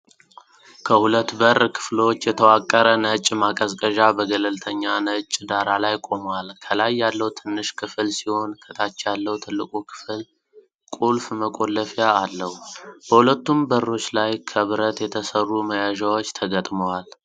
ከሁለት በር ክፍሎች የተዋቀረ ነጭ ማቀዝቀዣ በገለልተኛ ነጭ ዳራ ላይ ቆሟል። ከላይ ያለው ክፍል ትንሽ ሲሆን፣ ከታች ያለው ትልቁ ክፍል ቁልፍ መቆለፊያ አለው። በሁለቱም በሮች ላይ ከብረት የተሰሩ መያዣዎች ተገጥመዋል።